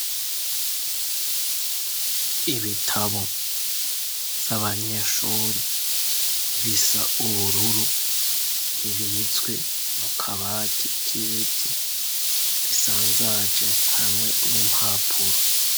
Ibitabo z'abanyeshore bisa ubururu bibizwe mu kabati k'ibiti bisanzaje hamwe n'impapuro.